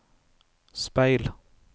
speil